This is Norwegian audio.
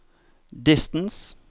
distance